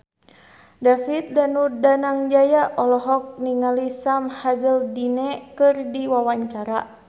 David Danu Danangjaya olohok ningali Sam Hazeldine keur diwawancara